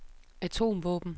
atomvåben